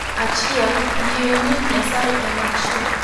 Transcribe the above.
Achiel, Yie ni Nyasaye en achiel.